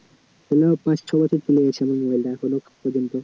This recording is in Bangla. পাঁচ ছ বছর চলে গেছে আমার mobile টা এখনও পর্যন্ত